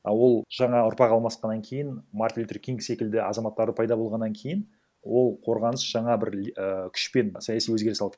а ол жаңа ұрпақ алмасқаннан кейін мартин лютер кинг секілді азаматтары пайда болғаннан кейін ол қорғаныс жаңа бір ііі күшпен саяси өзгеріс алды